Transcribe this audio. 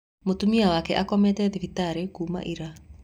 Mũtumia wake akomete thibitarĩ kũma ira